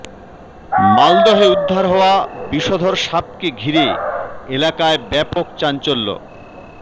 মালদহে উদ্ধার হওয়া বিষধর সাপকে ঘিরে এলাকায় ব্যাপক চাঞ্চল্য